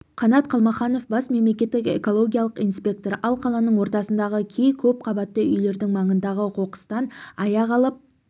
қанат қалмаханов бас мемлекеттік экологиялық инспектор ал қаланың ортасындағы кей көпқабатты үйлердің маңындағы қоқыстан аяқ алып